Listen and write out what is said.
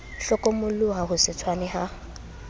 hlokomoloha ho se tshwane ha